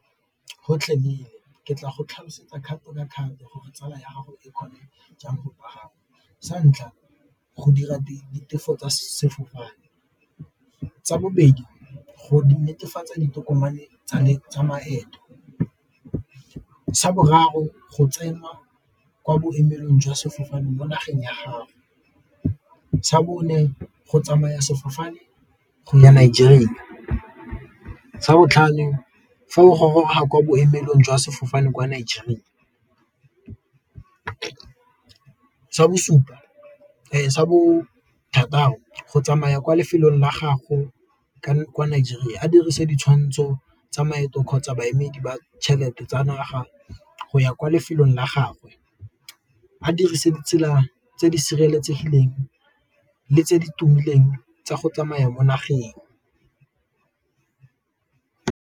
Gotlhele ke tla go tlhalosetsa kgato diakhaonto gore tsala ya gago e kgone jang . Sa ntlha go dira ditefo tsa sefofane, sa bobedi go netefatsa ditokomane tsa maeto, sa boraro go tswenwa kwa boemelong jwa sefofane mo nageng ya gago, sa bone go tsamaya sefofane go ya Nigeria, sa botlhano fa o goroga kwa boemelong jwa sefofane kwa Nigeria, sa bothataro go tsamaya kwa lefelong la gago kwa Nigeria a dirise ditshwantsho tsa maeto kgotsa baemedi ba tšhelete tsa naga go ya kwa lefelong la gagwe, a dirise ditsela tse di sireletsegileng le tse di tumileng tsa go tsamaya mo nageng.